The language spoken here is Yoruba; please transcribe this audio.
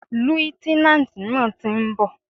Líútínántì náà ti nbò